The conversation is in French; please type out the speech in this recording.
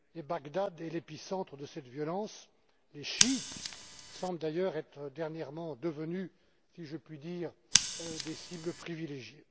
Bagdad est l'épicentre de cette violence, les chiites semblent d'ailleurs être dernièrement devenus, si je puis dire, des cibles privilégiées.